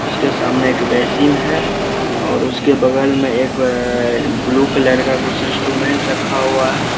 उसके सामने एक बेसिन है और उसके बगल में एक ब्लू कलर का इंस्ट्रूमेंट रखा हुआ है।